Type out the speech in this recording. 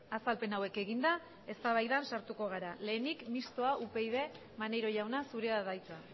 azalpen hauek eginda eztabaidan sartuko gara lehenik mistoa upyd maneiro jauna zurea da hitza